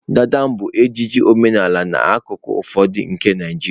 dada bụ ejiji omenala n'akụkụ ụfọdụ nke Naịjirịa.